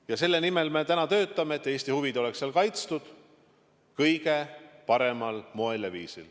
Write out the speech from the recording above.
Ja me töötame selle nimel, et Eesti huvid oleksid kaitstud kõige paremal moel.